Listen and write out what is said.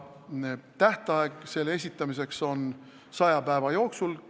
Tähtaeg selle esitamiseks on 100 päeva jooksul.